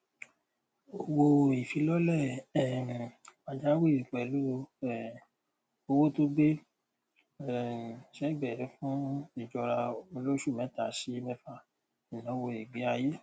owóìfilọlẹ um pàjáwìrì pẹlú um owó tó gbé um sẹgbẹẹ fún ìjọra olóṣù mẹta sí mẹfà ìnáwó ìgbéayé